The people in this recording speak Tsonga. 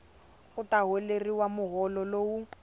u ta holeriwa muholo lowu